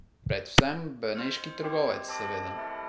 Predvsem Beneški trgovec seveda.